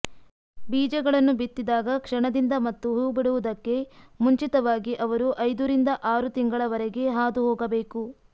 ಬೀಜಗಳನ್ನು ಬಿತ್ತಿದಾಗ ಕ್ಷಣದಿಂದ ಮತ್ತು ಹೂಬಿಡುವುದಕ್ಕೆ ಮುಂಚಿತವಾಗಿ ಅವರು ಐದು ರಿಂದ ಆರು ತಿಂಗಳವರೆಗೆ ಹಾದು ಹೋಗಬೇಕು